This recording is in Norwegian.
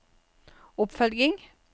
oppfølging